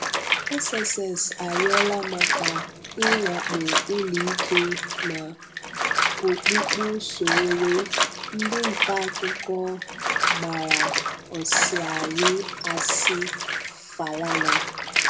SSS ayọla maka inwakpo uloike na okpukpu Sowore, Ndi nta akuko gbara osiari asị-Falana.